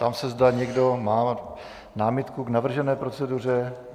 Ptám se, zda někdo má námitku k navržené proceduře.